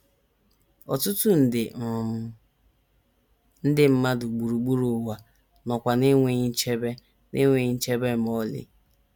Ọtụtụ nde um ndị mmadụ gburugburu ụwa nọkwa n’enweghị nchebe n’enweghị nchebe ma ọlị.